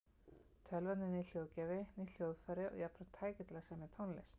Tölvan er nýr hljóðgjafi, nýtt hljóðfæri og jafnframt tæki til að semja tónlist.